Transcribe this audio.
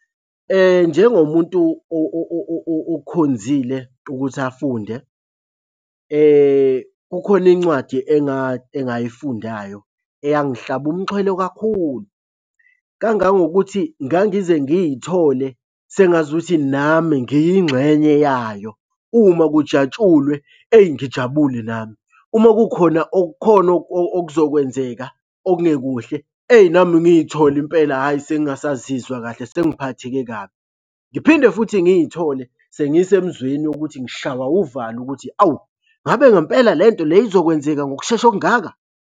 Njengomuntu okukhonzile ukuthi afunde kukhona incwadi engayifundayo eyangihlaba umxhwele kakhulu kangangokuthi ngangize ngiy'thole sengazukuthi nami ngiyingxenye yayo. Uma kujatshulwe, eyi ngijabule nami. Uma kukhona okukhona okuzokwenzeka okungekuhle, eyi nami ngiy'thole impela hhayi sengingasazizwa kahle sengiphatheke kabi. Ngiphinde futhi ngiy'thole sengisemzweni wokuthi ngishawa uvalo ukuthi awu, ngabe ngempela le nto le izokwenzeka ngokushesha okungaka.